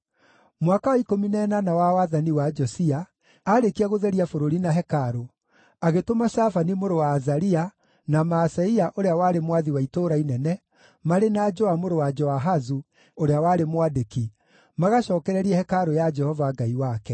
Mwaka wa ikũmi na ĩnana wa wathani wa Josia, aarĩkia gũtheria bũrũri na hekarũ, agĩtũma Shafani mũrũ wa Azalia, na Maaseia ũrĩa warĩ mwathi wa itũũra inene, marĩ na Joa mũrũ wa Joahazu, ũrĩa warĩ mwandĩki, magacookererie hekarũ ya Jehova Ngai wake.